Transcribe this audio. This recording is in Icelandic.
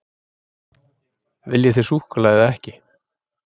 Viljið þið súkkulaði eða ekki?